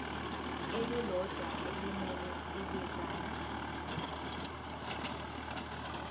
elilodwa elimele ibinzana